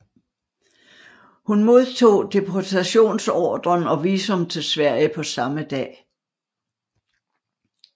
Hun modtog deportationsordren og visum til Sverige på samme dag